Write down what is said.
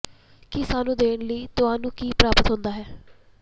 ਕੀ ਸਾਨੂੰ ਦੇਣ ਲਈ ਤੁਹਾਨੂੰ ਕੀ ਪ੍ਰਾਪਤ ਹੁੰਦਾ ਹੈ